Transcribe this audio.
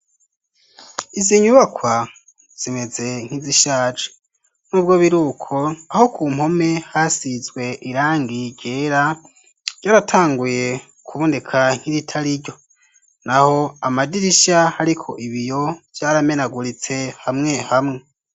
izi nyubakwa zimeze nk'izishaje n'ubwo biruko aho ku mpome hasizwe irangi ryera ryaratanguye kuboneka nk'iritari ryo naho amadirishya ariko ibiyo byaramenaguritse hamwe hamwe